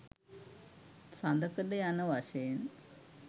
සඳකඩ යන වශයෙන්